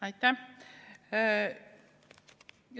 Aitäh!